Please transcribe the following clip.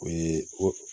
O ye ko